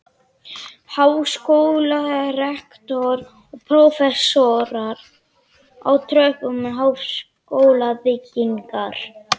Háskólarektor og prófessorar á tröppum háskólabyggingar.